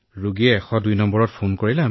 আমি 102 ৰ পৰা কলৰ ৰোগীৰ কাষলৈ যাও